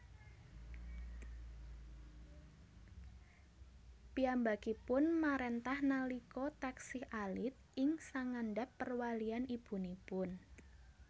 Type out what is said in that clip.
Piyambakipun maréntah nalika taksih alit ing sangandhap perwalian ibunipun